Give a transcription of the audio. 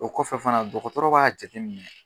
O kɔfɛ fana dɔgɔtɔrɔ b'a jateminɛ